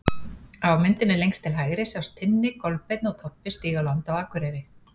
Á myndinni lengst til hægri sjást Tinni, Kolbeinn og Tobbi stíga á land á Akureyri.